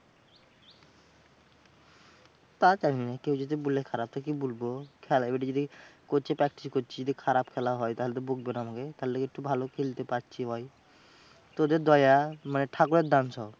তা জানি না। কেউ যদি বলে খারাপ তো কি বলব? খেলা এবার যদি coach এ practice করছি যদি খারাপ খেলা হয়, তাহলে তো বকবে না আমাকে? থালে একটু ভালো খেলতে পারছি বল? তোদের দয়ায়, মানে ঠাকুরের দান সব।